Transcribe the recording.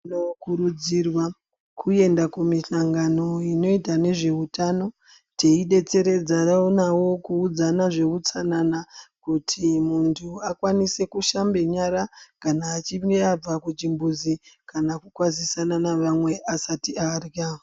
Tino kurudzirwa kuenda ku mishangano inoita nezve utano tei detseredzarana navo ku udzana zve utsanana kuti muntu akwanise kushambe nyara kana achinge abva ku chimbuzi kana ku kwadzisana na vamwe asati arya.